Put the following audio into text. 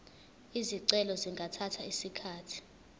izicelo zingathatha isikhathi